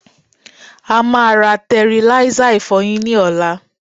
a máa ra tẹriláísà ìfọyín ní ọ̀la.